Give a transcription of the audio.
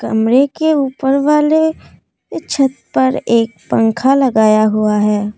कमरे के ऊपर वाले छत पर एक पंखा लगाया हुआ है।